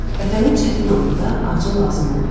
Vətənin çətin anında ağca lazım oldu.